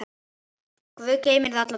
Guð geymi þig alla daga.